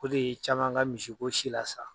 O de ye caman ka misiko si lasa.